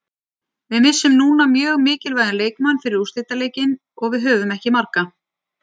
Við missum núna mjög mikilvægan leikmann fyrir úrslitaleikinn og við höfum ekki marga.